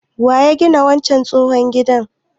Waya gina wancan katon gidan?